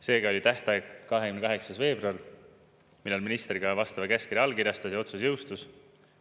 Seega oli tähtaeg 28. veebruar, millal minister ka vastava käskkirja allkirjastas ja otsus jõustus.